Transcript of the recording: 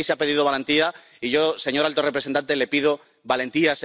Sí, aquí se ha pedido valentía, y yo, señor alto representante, le pido valentía.